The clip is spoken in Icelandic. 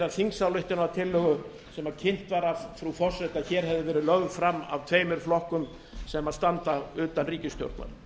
þingsályktunartillögu sem kynnt var af frú forseta að hér hefði verið lögð fram af tveimur flokkum sem standa utan ríkisstjórnar